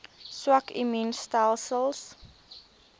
swak immuun stelsels